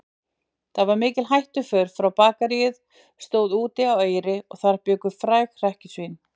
Það var mikil hættuför því Bakaríið stóð úti á Eyri og þar bjuggu fræg hrekkjusvín.